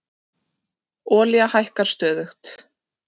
Olía hækkar stöðugt